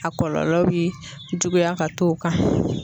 A kɔlɔlɔ bi juguya ka t'o kan.